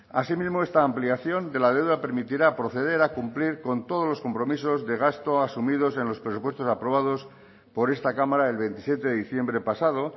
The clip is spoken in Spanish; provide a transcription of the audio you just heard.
así mismo esta ampliación de la deuda permitirá proceder a cumplir con todos los compromisos de gasto asumidos en los presupuestos aprobados por esta cámara el veintisiete de diciembre pasado